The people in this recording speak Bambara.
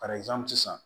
sisan